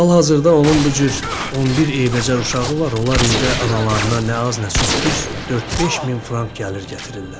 Hal-hazırda onun bu cür 11 eybəcər uşağı var, onlar ildə analarına nə az, nə çox, düz 4-5 min frank gəlir gətirirlər.